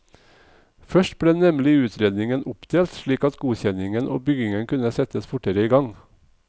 Først ble nemlig utredningen oppdelt, slik at godkjenningen og byggingen kunne settes fortere i gang.